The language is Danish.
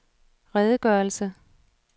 redegørelse